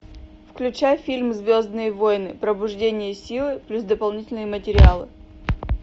включай фильм звездные войны пробуждение силы плюс дополнительные материалы